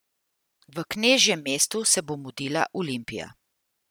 V knežjem mestu se bo mudila Olimpija.